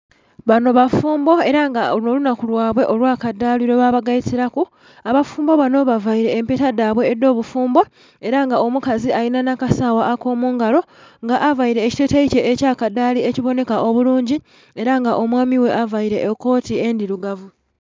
Banho bafumbo era nga olwo olunhaku lwabwe olwakadhali lwebaba geitilaku, abafumbo abanho bavaile empeta dhabwe edhobufumbo era nga omukazi alinha kasagha akomungalo nga aveile ekiteteyi kye ekyakadhali ekyi bonheka obulunji era nga omwami ghe aveile ekoti ndhilugavu.